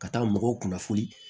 Ka taa mɔgɔw kunnafoni